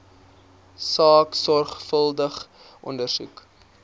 saak sorgvuldig ondersoek